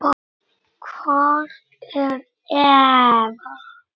Hvar er Eva?